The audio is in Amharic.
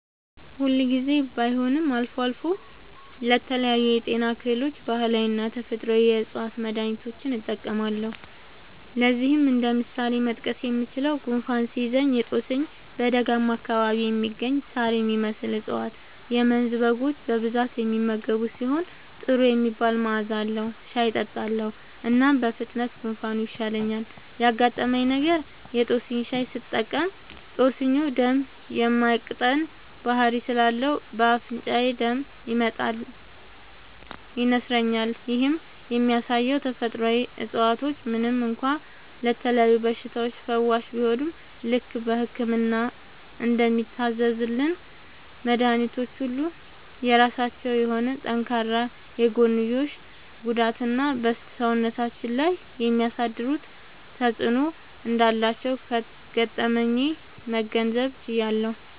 ሁል ጊዜ ባይሆንም አልፎ አልፎ ለተለያዩ የጤና እክሎች ባህላዊና ተፈጥአዊ የ ዕፅዋት መድሀኒቶችን እጠቀማለሁ። ለዚህም እንደ ምሳሌ መጥቀስ የምችለው፣ ጉንፋን ሲይዘኝ የ ጦስኝ (በደጋማ አካባቢ የሚገኝ ሳር የሚመስል እፀዋት - የመንዝ በጎች በብዛት የሚመገቡት ሲሆን ጥሩ የሚባል መዐዛ አለዉ) ሻይ እጠጣለሁ። እናም በፍጥነት ጉንፋኑ ይሻለኛል። ያጋጠመኝ ነገር:- የ ጦስኝ ሻይ ስጠቀም ጦስኙ ደም የ ማቅጠን ባህሪ ስላለው በ አፍንጫዬ ደም ይመጣል (ይነስረኛል)። ይህም የሚያሳየው ተፈጥሮአዊ እፀዋቶች ምንም እንኳ ለተለያዩ በሽታዎች ፈዋሽ ቢሆኑም፣ ልክ በህክምና እንደሚታዘዙልን መድኃኒቶች ሁሉ የራሳቸው የሆነ ጠንካራ የጎንዮሽ ጉዳትና በ ሰውነታችን ላይ የሚያሳድሩት ተጵዕኖ እንዳላቸው ከገጠመኜ መገንዘብ ችያለሁ።